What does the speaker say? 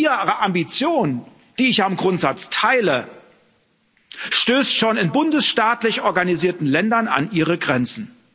Also Ihre Ambition, die ich ja im Grundsatz teile, stößt schon in bundesstaatlich organisierten Ländern an ihre Grenzen.